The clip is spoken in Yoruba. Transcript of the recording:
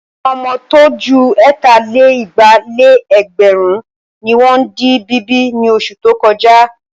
Àwọn ọmọ tó ju ẹ̀tà-lé-igba-lé-ẹgbẹ̀rún ni wọ́n di bíbí ní oṣù tó kọjá.